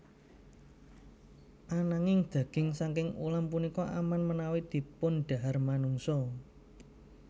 Ananging daging saking ulam punika aman menawi dipundhahar manungsa